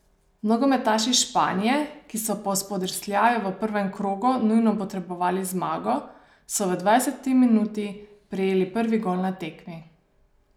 Nogometaši Španije, ki so po spodrsljaju v prvem krogu nujno potrebovali zmago, so v dvajseti minuti prejeli prvi gol na tekmi.